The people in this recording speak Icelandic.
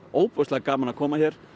ótrúlega gaman að koma hér